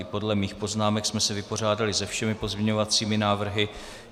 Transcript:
I podle mých poznámek jsme se vypořádali se všemi pozměňovacími návrhy.